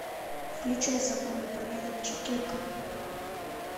включай закон и порядок четырка